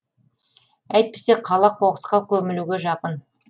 әйтпесе қала қоқысқа көмілуге жақын